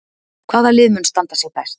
Hvaða lið mun standa sig best?